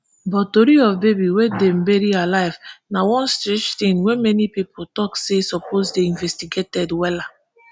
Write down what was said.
but tori of baby wey dem bury alive na one strange tin wey many pipo tok say suppose dey investigated wella